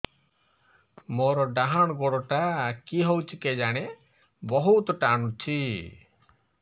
ମୋର୍ ଡାହାଣ୍ ଗୋଡ଼ଟା କି ହଉଚି କେଜାଣେ ବହୁତ୍ ଟାଣୁଛି